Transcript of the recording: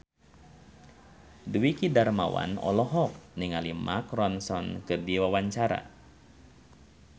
Dwiki Darmawan olohok ningali Mark Ronson keur diwawancara